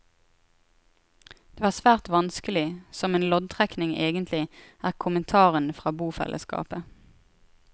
Det var svært vanskelig, som en loddtrekning egentlig, er kommentaren fra bofellesskapet.